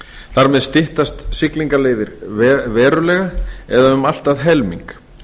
þar með styttast siglingaleiðirnar verulega eða um allt að helming